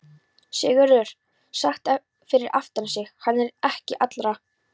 Sigurður heyrði sagt fyrir aftan sig:-Hann er ekki allra.